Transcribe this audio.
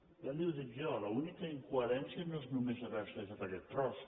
ja li ho dic jo l’única incoherència no és només haver se deixat aquest tros